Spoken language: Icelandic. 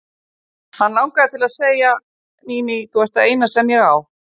Hann langaði til að segja: Mimi, þú ert það eina sem ég á.